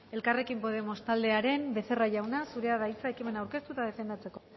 elkarrekin podemos taldearen becerra jauna zurea da hitza ekimen aurkeztu eta defendatzeko